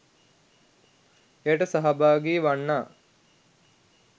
එයට සහභාගී වන්නා